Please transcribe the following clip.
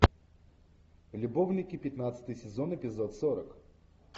любовники пятнадцатый сезон эпизод сорок